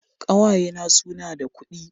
Ƙawaye na su na da kudi